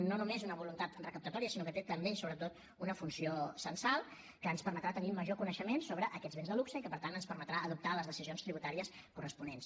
no només una voluntat recaptatòria sinó que té també i sobretot una funció censal que ens permetrà tenir major coneixement sobre aquests béns de luxe i que per tant ens permetrà adoptar les decisions tributàries corresponents